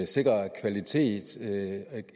sikrer kvalitet og